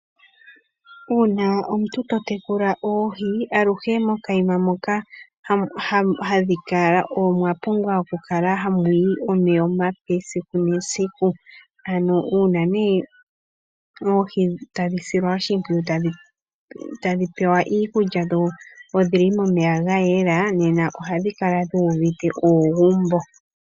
Uuna omuntu tatekulula oohi aluhe mokanima moka hadhi kala omwapumbwa okukala hamu yi omeya omape gesiku. Uuna oohi tadhi silwa oshimpwiyu, tadhi pewa iikulya, dho odhili momeya gayela, nena ohadhi kala dhuuvite uugumbo.